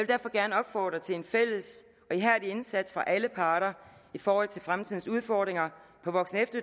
derfor gerne opfordre til en fælles og ihærdig indsats fra alle parter i forhold til fremtidens udfordringer på voksen